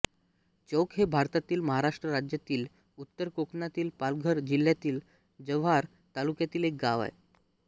चौक हे भारतातील महाराष्ट्र राज्यातील उत्तर कोकणातील पालघर जिल्ह्यातील जव्हार तालुक्यातील एक गाव आहे